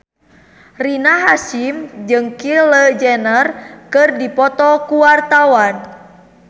Rina Hasyim jeung Kylie Jenner keur dipoto ku wartawan